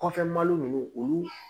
Kɔfɛ malo ninnu olu